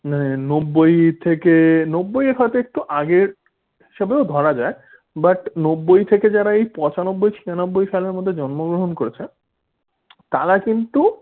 নব্বই থেকে নব্বই এর হইত আগে একটু আগে, সেও ধরা যাক। but নব্বই থেকে যারা এই পঁচানব্বই ছিয়ানব্বই সালের মধ্যে জন্মগ্রহণ করেছে তারা কিন্তু